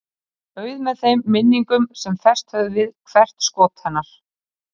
Auð með þeim minningum sem fest höfðu við hvert skot hennar.